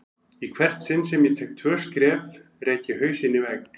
Í hvert sinn sem ég tek tvö skref rek ég hausinn í vegg.